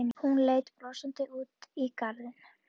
Hún leit brosandi út í garðinn.